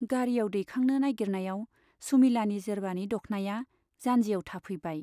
गारियाव दैखांनो नाइगिरनायाव सुमिलानि जेरबानि दख्नाया जान्जियाव थाफैबाय।